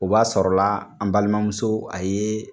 O b'a sɔrɔla la an balimamuso a ye